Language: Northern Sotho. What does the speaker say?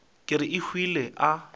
ka re a hwile a